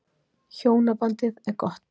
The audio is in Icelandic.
Hjónabandið er gott.